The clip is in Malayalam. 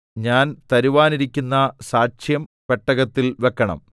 ഞാൻ തരുവാനിരിക്കുന്ന സാക്ഷ്യം പെട്ടകത്തിൽ വെക്കണം